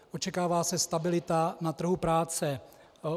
Očekává se stabilita na trhu práce.